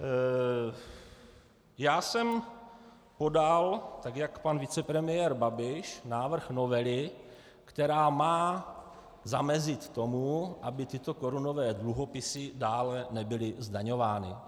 Já jsem podal, tak jak pan vicepremiér Babiš, návrh novely, která má zamezit tomu, aby tyto korunové dluhopisy dále nebyly zdaňovány.